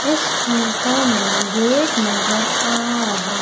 इस फोटो में गेट नजर आ रहा--